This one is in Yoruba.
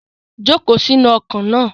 Joko si inu oko na